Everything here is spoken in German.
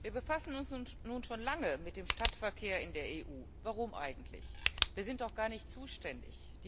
Wir befassen uns nun schon lange mit dem Stadtverkehr in der EU. Warum eigentlich? Wir sind doch gar nicht zuständig!